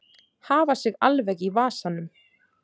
Hafa sig alveg í vasanum.